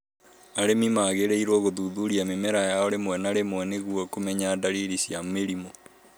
Arĩmi magĩrĩirũo gũthuthuria mĩmera yao rĩmwe na rĩmwe nĩguo kũmenya dariri cia mĩrimũ